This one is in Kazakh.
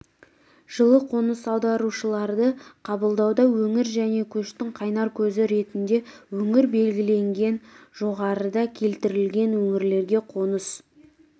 жылы қоныс аударушыларды қабылдауда өңір және көштің қайнар көзі ретінде өңір белгіленген жоғарыда келтірілген өңірлерге қоныс